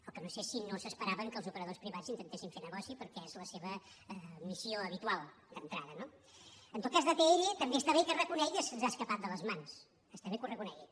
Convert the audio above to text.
el que no sé és si no s’esperaven que els operadors privats intentessin fer negoci perquè és la seva missió habitual d’entrada no en tot cas d’atll també està bé que reconegui que se’ns ha escapat de les mans està bé que ho reconegui